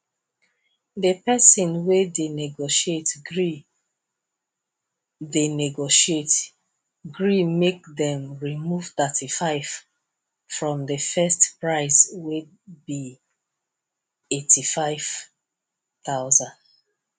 the person wey dey negotiate gree dey negotiate gree make dem remove 35 from the first price wey be 85000